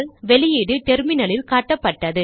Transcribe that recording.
output டெர்மினலில் காட்டப்பட்டது